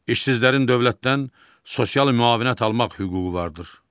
İşsizlərin dövlətdən sosial müavinət almaq hüququ vardır.